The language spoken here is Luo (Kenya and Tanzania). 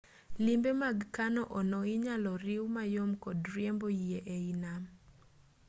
limbe mag kano-ono inyalo riwu mayom kod riembo yie e i nam